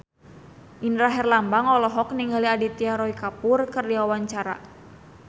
Indra Herlambang olohok ningali Aditya Roy Kapoor keur diwawancara